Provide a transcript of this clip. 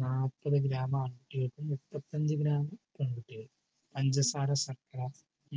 നാല്പത് gram ആൺകുട്ടികൾക്കും മുപ്പത്തിയഞ്ചു gram പെൺകുട്ടികൾക്കും പഞ്ചസാര ശർക്കര